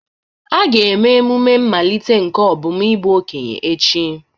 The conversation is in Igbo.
A ga-eme emume mmalite nke Obum n'ime okenye echi.